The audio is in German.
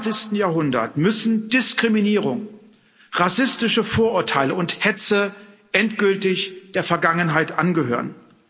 21. Jahrhundert müssen Diskriminierung, rassistische Vorurteile und Hetze endgültig der Vergangenheit angehören.